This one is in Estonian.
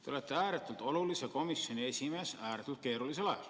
Te olete ääretult olulise komisjoni esimees ääretult keerulisel ajal.